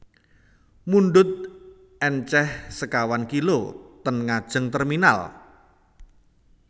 Mundhut enceh sekawan kilo ten ngajeng terminal